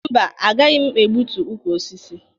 Mba, agaghị m egbutu ukwu osisi.